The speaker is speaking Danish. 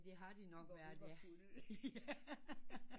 Det har det nok været ja